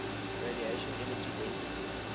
radiation energy density